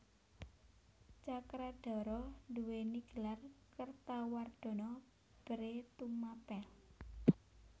Cakradhara duwéni gelar Kertawardhana Bhre Tumapel